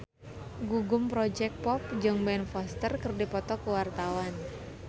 Gugum Project Pop jeung Ben Foster keur dipoto ku wartawan